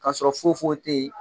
Ka sɔrɔ foyi foyi tɛ yen